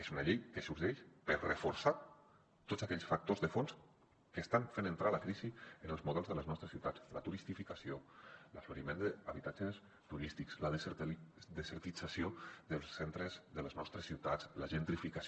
és una llei que sorgeix per reforçar tots aquells factors de fons que estan fent entrar la crisi en els models de les nostres ciutats la turistificació l’aflorament d’habitatges turístics la desertització dels centres de les nostres ciutats la gentrificació